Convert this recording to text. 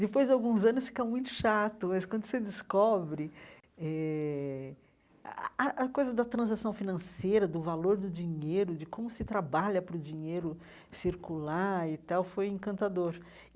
Depois de alguns anos fica muito chato, mas quando você descobre... eh a a a coisa da transição financeira, do valor do dinheiro, de como se trabalha para o dinheiro circular e tal, foi encantador.